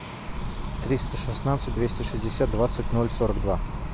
триста шестнадцать двести шестьдесят двадцать ноль сорок два